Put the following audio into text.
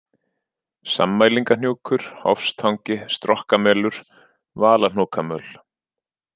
Sammælingahnjúkur, Hofstangi, Strokkamelur, Valahnúkamöl